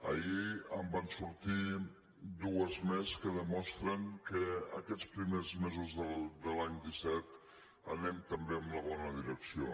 ahir en van sortir dues més que demostren que aquests primers mesos de l’any disset anem també en la bona direcció